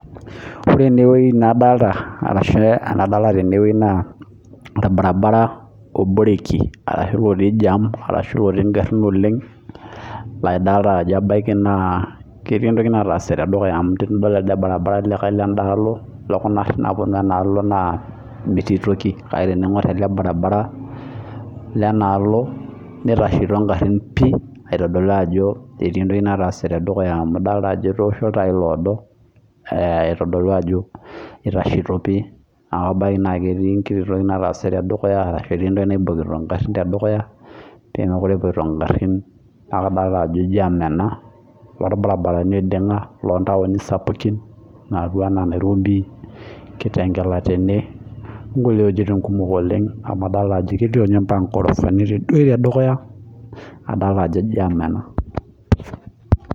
Ore enewueji nadolita tenewueji naa[orbaribara oboreki ashu otii jam ashu otii garin oleng naa edolita Ajo kelelek etii enkoki natase tedukuya amu tenidol elde lekae barabara ledalo lekuna garin naapuonu enaalo naa metii toki kake tening'or ele barabara Lena aloo nitasheto egarin aitodolu Ajo ketii entoki nataase tedukuya amu edol Ajo etosho ilntai odoo aitodolu nitasheto pii aitodolu Ajo ketii entoki natase tedukuya ashu entoki naiboki egarin tedukuya pee mekure epuoito egarin kake kadolita Ajo jam ena too irbaribarani oidinga loo ntaooni sapukin loopuo ena Nairobi kitengela tene amu adolita Ajo kelio mbaka ntorosani tedukuya adolita Ajo jam ena